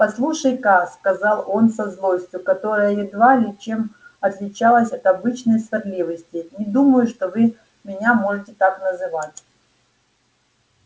послушайте-ка сказал он со злостью которая едва ли чем отличалась от обычной сварливости не думаю что вы меня можете так называть